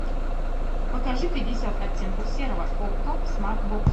покажи пятьдесят оттенков серого окко смарт бокс